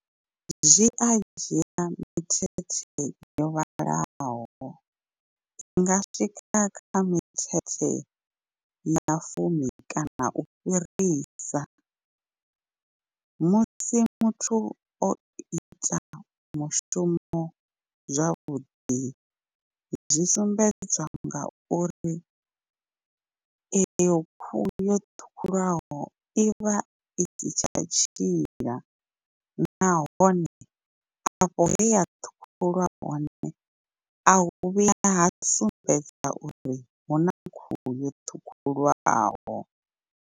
Zwi a dzhia mithethe yo vhalaho i nga swika kha mithethe ya fumi kana u fhirisa. Musi muthu o ita mushumo zwavhuḓi zwi sumbedzwa ngauri eyo khuhu yo ṱhukhulwaho i vha i si tsha tshila, nahone afho he ya ṱhukhuliwa hone a hu vhuyi ha sumbedza uri huna khuhu yo ṱhukhulwaho.